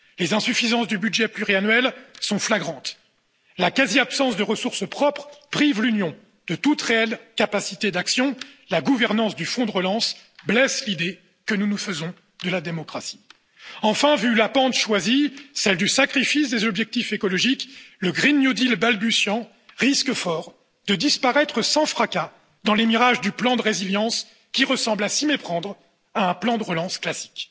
Les insuffisances du budget pluriannuel sont flagrantes la quasi absence de ressources propres prive l'Union de toute réelle capacité d'action, la gouvernance du Fonds de relance blesse l'idée que nous nous faisons de la démocratie. Enfin, vu la pente choisie, celle du sacrifice des objectifs écologiques, le pacte vert européen balbutiant risque fort de disparaître sans fracas dans les mirages du plan de résilience, qui ressemble à s'y méprendre à un plan de relance classique.